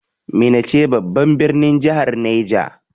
Minna ce babban birnin jahar Neja.